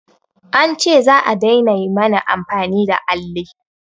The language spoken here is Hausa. An ce za'a daina mana amfani da alli